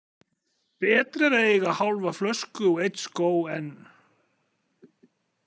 Betra er að eiga hálfa flösku og einn skó en.